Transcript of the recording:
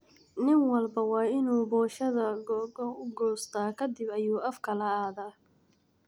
Nin walbo wainuu poshada koo koo uqosta kadib ayu afka laadhaaa.